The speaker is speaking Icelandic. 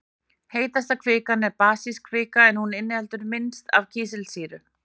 Heitasta kvikan er basísk kvika en hún inniheldur minnst af kísilsýru.